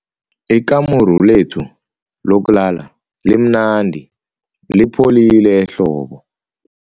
Ikamuru lethu lokulala limnandi lipholile ehlobo.